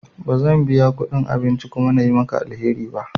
Ba zan biya kudin abinci kuma na yi maka alheri ba.